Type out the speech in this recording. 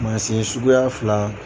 Mansin suguya fila